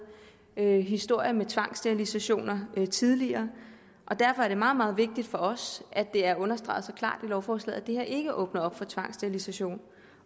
historier med tvangsterilisationer tidligere og derfor er det meget meget vigtigt for os at det er understreget så klart i lovforslaget at det her ikke åbner op for tvangsterilisation